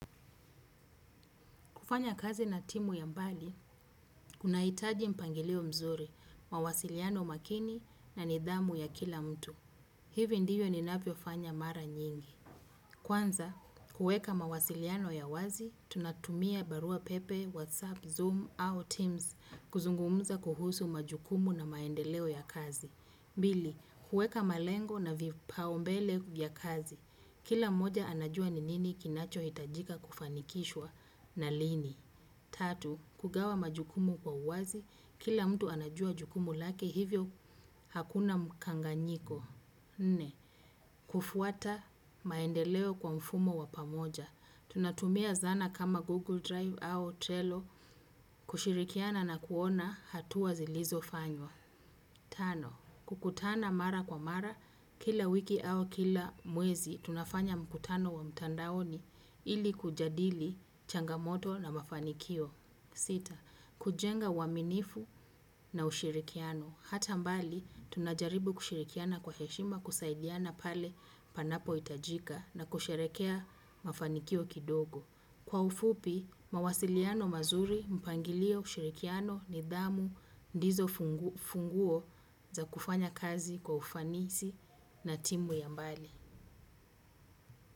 Kufanyakazi na timu ya mbali, kunahitaji mpangilio mzuri, mawasiliano makini na nidhamu ya kila mtu. Hivyo ndivyo ninavyofanya mara nyingi. Kwanza, kuweka mawasiliano ya wazi, tunatumia barua pepe, whatsapp, zoom, au teams kuzungumuza kuhusu majukumu na maendeleo ya kazi. Mbili kuweka malengo na vipao mbele vya kazi. Kila mmoja anajua ni nini kinachohitajika kufanikishwa na lini. Tatu, kugawa majukumu kwa uwazi, kila mtu anajua majukumu lake hivyo hakuna mkanganyiko. Nne, kufuata maendeleo kwa mfumo wa pamoja. Tunatumia zana kama Google Drive au Trello, kushirikiana na kuona hatua zilizofanywa. Tano, kukutana mara kwa mara, kila wiki au kila mwezi, tunafanya mkutano wa mtandaoni ili kujadili changamoto na mafanikio. Sita, kujenga waminifu na ushirikiano. Hata mbali, tunajaribu kushirikiana kwa heshima kusaidiana pale panapohitajika na kusherekea mafanikio kidogo. Kwa ufupi, mawasiliano mazuri mpangilio ushirikiano nidhamu ndizo funguo za kufanyakazi kwa ufanisi na timu ya mbali.